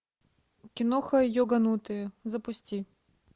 киноха йоганутые запусти